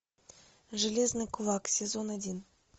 железный кулак сезон один